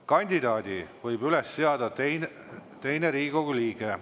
Kandidaadi võib üles seada teine Riigikogu liige.